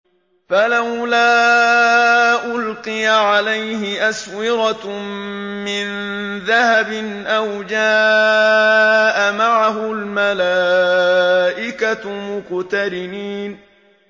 فَلَوْلَا أُلْقِيَ عَلَيْهِ أَسْوِرَةٌ مِّن ذَهَبٍ أَوْ جَاءَ مَعَهُ الْمَلَائِكَةُ مُقْتَرِنِينَ